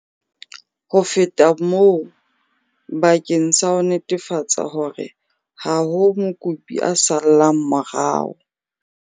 Ho feta moo, bakeng sa ho netefatsa hore ha ho mokopi a sallang morao,